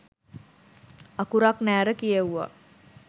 අකුරක් නෑර කියෙවුවා